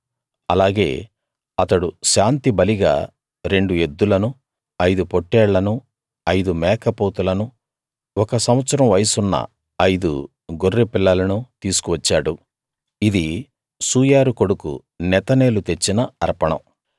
అలాగే అతడు శాంతిబలిగా రెండు ఎద్దులను ఐదు పోట్టేళ్ళనూ ఐదు మేకపోతులను ఒక సంవత్సరం వయసున్న ఐదు గొర్రె పిల్లలను తీసుకు వచ్చాడు ఇది సూయారు కొడుకు నెతనేలు తెచ్చిన అర్పణం